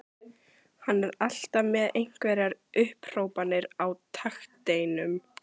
Hann er alltaf með einhverjar upphrópanir á takteinum.